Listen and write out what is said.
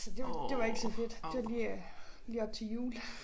Så det var det var ikke så fedt. Det var lige øh lige op til jul